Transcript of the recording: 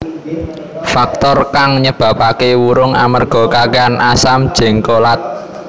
Faktor kang nyebabaké wurung amerga kakèhan asam jéngkolat